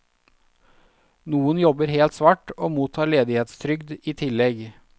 Noen jobber helt svart og mottar ledighetstrygd i tillegg.